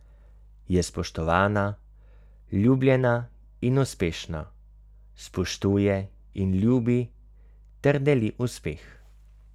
Je spoštovana, ljubljena in uspešna, spoštuje in ljubi, ter deli uspeh.